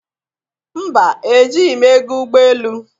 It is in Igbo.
Mba! Ejighi m ego ụgbọ elu.